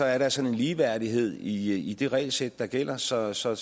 er der sådan en ligeværdighed i i det regelsæt der gælder så så